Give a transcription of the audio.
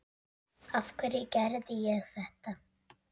Af hverju ég gerði þetta.